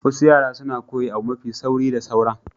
Wasu yara suna koyi abu mafi sauri da sauran.